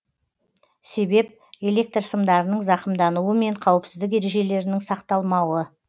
себеп электр сымдарының зақымдануы мен қауіпсіздік ережелерінің сақталмауы